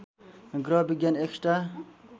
ग्रह विज्ञान एक्स्ट्रा